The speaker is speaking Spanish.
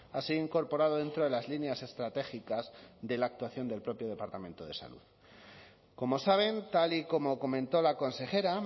ha sido incorporado dentro de las líneas estratégicas de la actuación del propio departamento de salud como saben tal y como comentó la consejera